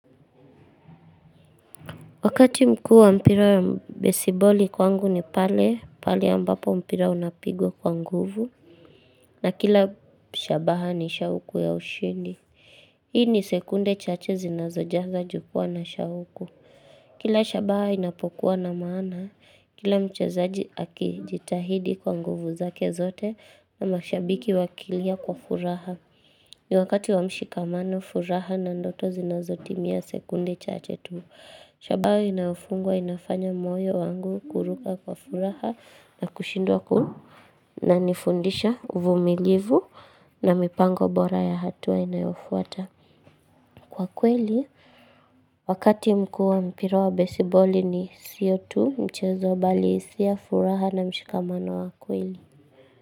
Wakati mkuu wa mpira ya bassball kwangu ni pale, pale ya ambapo mpira unapigwa kwa nguvu. Na kila shabaha ni shauku ya ushindi. Hii ni sekunde chache zinazo jaga juukua na shauku. Kila shabaha inapokuwa na maana, kila mchezaji akijitahidi kwa nguvu zake zote na mashabiki wakilia kwa furaha. Ni wakati wamshikamano furaha na ndoto zinazo timia sekunde chache tu. Shabaha inayofungwa inafanya moyo wangu kuruka kwa furaha na kushindwa Nanifundisha uvumilivu na mipango bora ya hatua inayofuata kwa kweli Wakati mkuu mpira wa baseball ni siyo tu mchezo bali hisia furaha na mshikamano wa kweli.